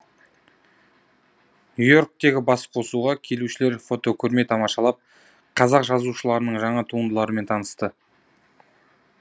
нью и орктегі басқосуға келушілер фотокөрме тамашалап қазақ жазушыларының жаңа туындыларымен танысты